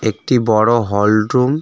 একটি বড়ো hall room.